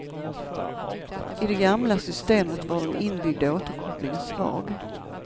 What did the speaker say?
I det gamla systemet var den inbyggda återkopplingen svag.